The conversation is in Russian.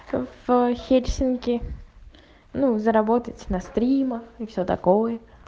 в хельсинки ну заработать на стримах и все такое